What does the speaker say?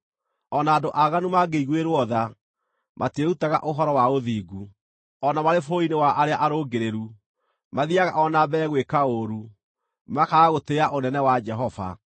O na andũ aaganu mangĩiguĩrwo tha, matiĩrutaga ũhoro wa ũthingu; o na marĩ bũrũri-inĩ wa arĩa arũngĩrĩru, mathiiaga o na mbere gwĩka ũũru, makaaga gũtĩĩa ũnene wa Jehova.